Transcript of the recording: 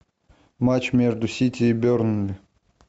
матч между сити и бернли